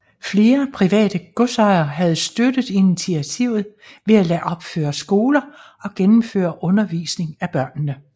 Flere private godsejere havde støttet initiativet ved at lade opføre skoler og gennemføre undervisning af børnene